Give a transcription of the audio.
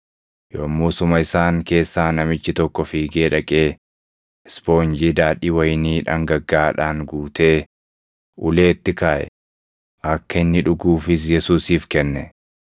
Yommusuma isaan keessaa namichi tokko fiigee dhaqee ispoonjii daadhii wayinii dhangaggaaʼaadhaan guutee, uleetti kaaʼe; akka inni dhuguufis Yesuusiif kenne.